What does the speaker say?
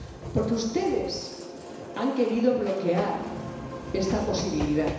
Porque ustedes han querido bloquear esta posibilidad.